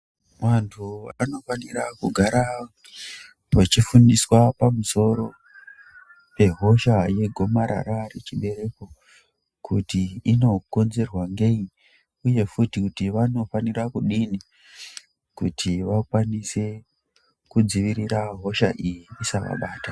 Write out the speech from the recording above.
Vantu vanofana kugara vachifundiswa pamusoro pehosha regomarara rechibereko Kuti inomonzerwa nei uye futi kuti vanofana kudini kuti vakwanise kudzivirira hosha iyo kuti isavabata.